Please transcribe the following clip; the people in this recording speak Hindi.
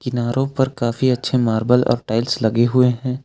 नारों पर काफी अच्छे मार्बल और टाइल्स लगे हुए हैं।